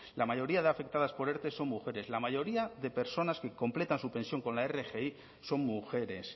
la mayoría de afectadas por erte son mujeres la mayoría de personas que completan su pensión con la rgi son mujeres